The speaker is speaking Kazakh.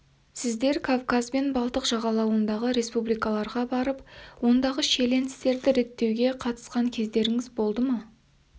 сіздер кавказ бен балтық жағалауындағы республикаларға барып ондағы шиеленістерді реттеуге қатысқан кездеріңіз болды ма